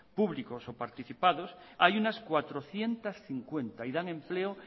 públicos o participados hay unas cuatrocientos cincuenta y dan empleo